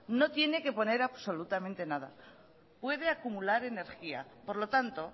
no tiene que poner absolutamente nada puede acumular energía por lo tanto